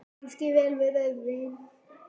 Kanntu vel við rauðvín?